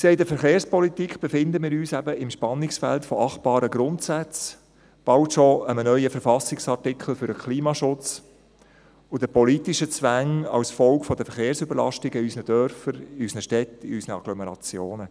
Wir sehen, in der Verkehrspolitik befinden wir uns eben im Spannungsfeld von achtbaren Grundsätzen, bald schon mit einem neuen Verfassungsartikel für den Klimaschutz und den politischen Zwängen als Folge der Verkehrsüberlastung in unseren Dörfern, in unseren Städten und in unseren Agglomerationen.